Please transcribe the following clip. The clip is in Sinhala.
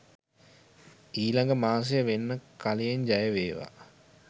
ඊලඟ මාසේ වෙන්න කලියෙන් ජයවේවා.